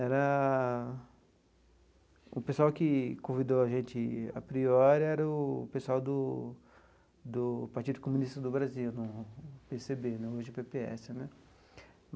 Era... o pessoal que convidou a gente a priori era o pessoal do do Partido Comunista do Brasil, pê cê bê, hoje pê pê esse, né?